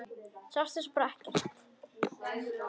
Sástu svo bara ekkert?